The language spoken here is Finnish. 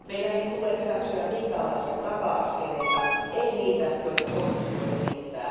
Meidän ei pidä hyväksyä minkäänlaisia taka askeleita, ei niitä, joita komissio esittää.